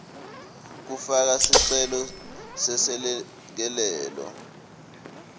kufaka sicelo seselekelelo